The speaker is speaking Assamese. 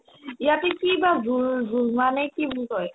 ইয়াতে কিবা জোল ~ জোলমা নে কি বুলি কই